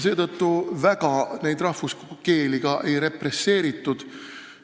Seetõttu rahvuskeeli väga ei represseeritud.